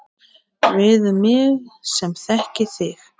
Við mig sem þekki þig.